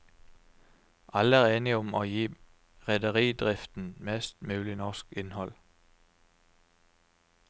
Alle er enige om å gi rederidriften mest mulig norsk innhold.